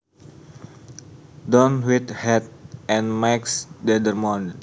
Don Whitehead and Max Dendermonde